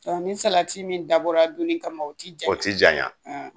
ni salati min dabɔra donni kama o ti janɲa? O ti janɲa